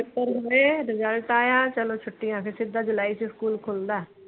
Paper ਹੁੰਦੇ ਏ result ਆਇਆ ਚਲੋ ਛੁੱਟੀਆਂ ਫਿਰ ਸਿੱਧਾ ਜੁਲਾਈ ਚ ਸਕੂਲ ਖੁਲਦਾ।